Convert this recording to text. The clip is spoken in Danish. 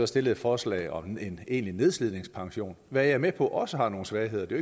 stillet et forslag om en egentlig nedslidningspension hvad jeg er med på også har nogle svagheder det